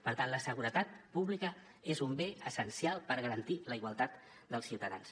per tant la seguretat pública és un bé essencial per garantir la igualtat dels ciutadans